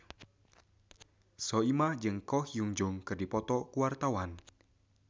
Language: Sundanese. Soimah jeung Ko Hyun Jung keur dipoto ku wartawan